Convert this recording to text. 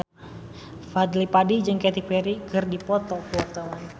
Fadly Padi jeung Katy Perry keur dipoto ku wartawan